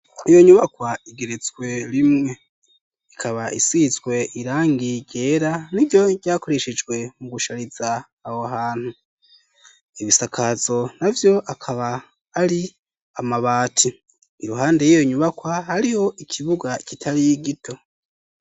Iyo nyubakwa igeretswe rimwe, ikaba isizwe irangi ryera n'iryo ryakoreshejwe mu gushariza aho hantu, ibisakazo na vyo akaba ari amabati ,iruhande y'iyo nyubakwa hariho ikibuga kitari gito.